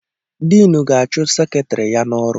Diinu ga-achụ Seketrị ya n'ọrụ.